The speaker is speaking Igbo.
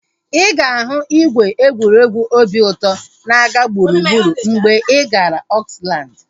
Ịga ahu ìgwè egwuregwu obi ụtọ na-aga gburugburu mgbe ị gara Oakland